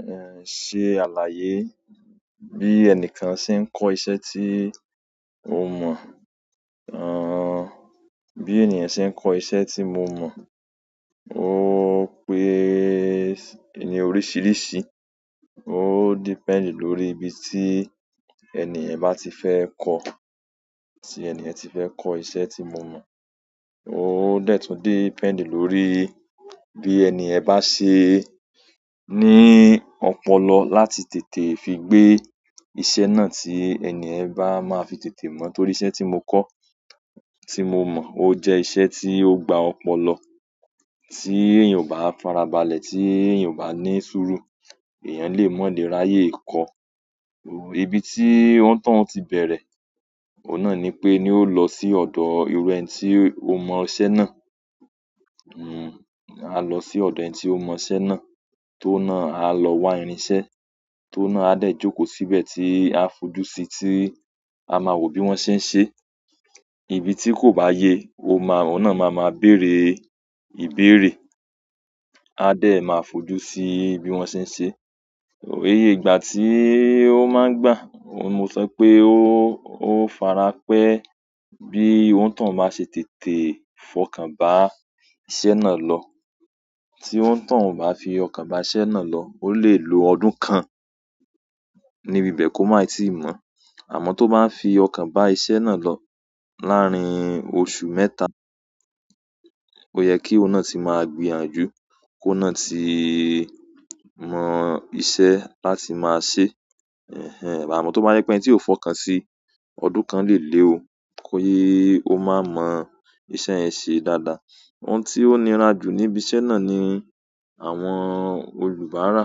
Ehn, ṣe àlàyé bí ẹnìkan ṣe ń kọ́ iṣẹ́ tí o mọ̀. Ehn, bí ènìyàn ṣe ń kọ́ iṣẹ́ tí mo mọ̀. Ó pé-- ní oríṣiríṣi. Ó depend lórí ibi tí ènìyàn bá ti fẹ́ kọ́. Ti eniyen ti fe ko iṣẹ́ ti mo mo o de tun depend lórí bi eniyen ba se ni opolo láti tètè fi gbe iṣẹ́ náà tí ènìyàn bá máa fi tètè mọ̀. Torí iṣẹ́ tí mo kọ́, tí mo mọ̀, ó jẹ́ iṣẹ́ tí ó gba ọpọlọ, tí èèyàn ò bá farabalẹ̀, tí èèyàn ò bá ní sùúrù, èèyàn lè mó le ráyè kọ. O-- ibi tí wọ́n tán ti bẹ̀rẹ̀, oun náà ni pé ni ó lọ sí ọ̀dọ̀ iru ẹni tí ó mọ iṣẹ́ náà. Hmm, a lọ sí ọ̀dọ̀ ẹni tí ó mọ iṣẹ́ náà, tóun náà a lọ wá irin iṣẹ́, tóun náà a dẹ̀ jókòó síbẹ̀ tí a fojú síi, tí a máa wo bí wọ́n ṣe ń ṣe. Ibi tí kò bá ye, o má-- oun nà máa ma béèrè ìbéèrè. A dẹ̀ máa fojú sí bí wọ́n ṣe ń ṣe. Òye ìgbà tí ó máa ń gbà, oun mo sọ pé ó, ó farapẹ́ bí oni toun bá ṣe tètè fọkàn bá iṣẹ́ náà lọ. Tí on toun ó bá fi ọkàn bá iṣẹ́ náà lọ, ó lè lo ọdún kan ní ibẹ̀ ko mái tíì mọ̀. Àmọ́ tó bá n fi ọkàn bá iṣẹ́ náà lọ, láàárín oṣù mẹ́ta, ó yẹ kí oun nà tí máa gbìyànjú, kóun náà tí mọ iṣẹ́ láti máa ṣe. Ehn, àmọ́ tó bá yẹ pé ẹni tí o fọkàn sí, ọdún kan lè lé ọ ki ko máa mọ iṣẹ́ yẹn ṣe dáadáa. Ohun tí ó nira jù níbi iṣẹ́ náà ni àwọn olùbárà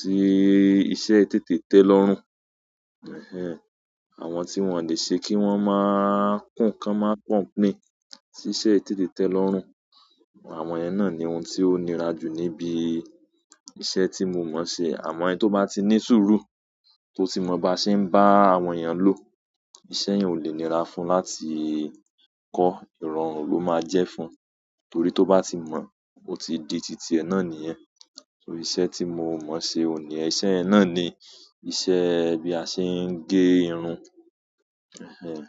tí iṣẹ́ i tètè tẹ́ lọ́rùn. Ehn, àwọn tí wọ́n ò lè ṣe kí wọ́n má n kùn ká má complain sí iṣẹ́ tètè tẹ́ lọ́rùn. Àwọn yen náà ni ohun tí ó nira jù níbí iṣẹ́ tí mo mọ̀ ṣe. Àmọ́ ẹni tó bá ti ní sùúrù tó ti mọ bá ṣe ń bá àwọn èèyàn lò, iṣẹ́ yẹn ò lè nira fún un láti kọ́. Ìrọ̀rùn ló máa jẹ́ fún un. Torí tó bá ti mọ̀, ó ti di tìtí ẹ náà nìyẹn. Torí iṣẹ́ tí mo mọ̀ ṣe òní, iṣẹ́ yẹn náà ni iṣẹ́ bí a ṣe ń gé irun. Ehn.